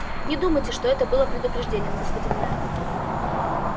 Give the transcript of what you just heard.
не думайте что это было предупреждением господин мэр